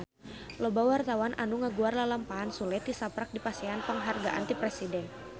Loba wartawan anu ngaguar lalampahan Sule tisaprak dipasihan panghargaan ti Presiden